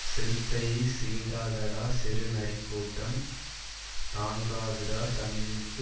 சிறுத்தையை சீண்டாதடா சிறு நரிக்கூட்டம் தாங்காதுடா தமிழுக்கு